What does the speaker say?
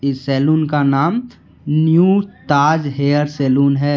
इस सैलून का नाम न्यू ताज हेयर सैलून है।